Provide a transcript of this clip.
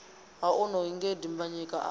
ha onoyu nge dimbanyika a